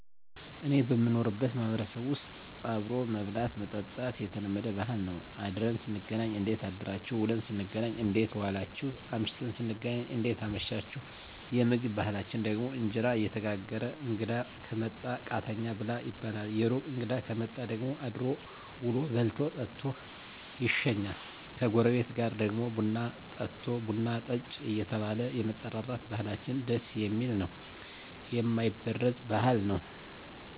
እኔ በምኖርበት ማህበረሰብ ዉስጥ አብሮ መብላት መጠጣት የተለመደ ባህል ነዉ አድረን ስንገናኝ እንዴት አደራችሁ ዉለን ስንገናኝ እንዴት ዋላችሁ አምሽተን ስንገናኝ እንዴት አመሻችሁየምግብ ባህላችን ደግሞ እንጀራ እየተጋገረ እንግዳ ከመጣ ቃተኛ ብላ ይባላል የሩቅ እንግዳ ከመጣ ደግሞ አድሮ ዉሎ በልቶ ጠጥቶ ይሸኛል ከጎረቤት ጋር ደግሞ ቡና ጠጦ ቡና ጠጭ እየተባባለ የመጠራራት ባህላችን ደስ የሚል ነዉ የማይበረዝ ባህል ነዉ